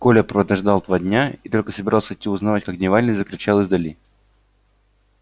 коля продождал два дня и только собрался идти узнавать как дневальный закричал издали